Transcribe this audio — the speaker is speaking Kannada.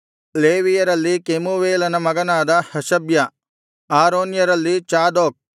ಲೇವಿಯರಲ್ಲಿ ಕೆಮುವೇಲನ ಮಗನಾದ ಹಷಬ್ಯ ಆರೋನ್ಯರಲ್ಲಿ ಚಾದೋಕ್